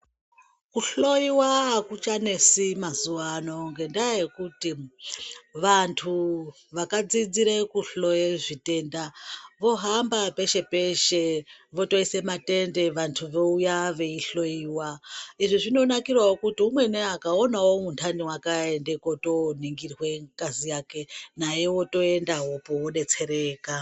Kuhloyiwa akuchanetsi mazuwa ano ngendaa yekuti vantu vakadzidzire kuhloye zvitenda vohamba peshe peshe votoise matende vantu vouya veinhloyiwa, izvi zvinonzkirawo kuti umweni akaona unhani wake aende koningirwe ngazi yake, naye wotoendawopo wodetsereka.